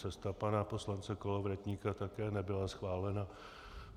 Cesta pana poslance Kolovratníka také nebyla schválena.